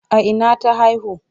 A ina ta haihu?